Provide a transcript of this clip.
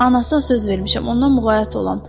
Anasına söz vermişəm, ondan muğayat olam.